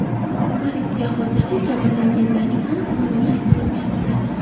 Politsiya hozircha jabrlanganlarning aniq sonini ayta olmayapti.